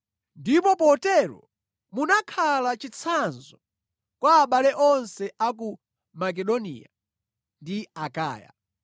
Ndipo potero munakhala chitsanzo kwa abale onse a ku Makedoniya ndi Akaya.